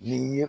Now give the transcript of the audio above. N'i ye